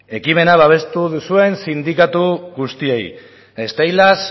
ekimena babestu duzuen sindikatu guztiei steilas